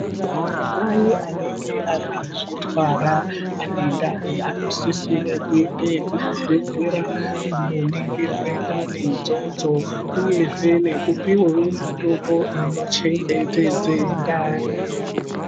Vantu vaye vanenge vakazvitwara vane ndani vanosisira kuenda kuzvibhedhlera Kundoningirwa ndani idzodzo uyezve nekupihwa mitombo inochengetedza ndani.